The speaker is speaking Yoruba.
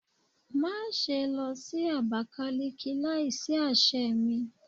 Maṣe lọ si Abakiliki laisi aṣẹ mi